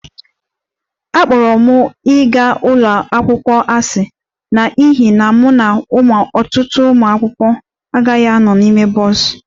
Akpọrọ m ịga njem ụlọ akwụkwọ asị n'ihi na mụ na ọtụtụ ụmụ akwụkwọ aghaghị ịnọdụ ala na bọs